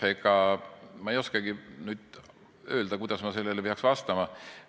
Ega ma ei oskagi nüüd öelda, kuidas ma peaks sellele vastama.